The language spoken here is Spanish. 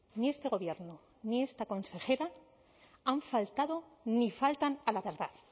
ni este gobierno ni esta consejera han faltado ni faltan a la verdad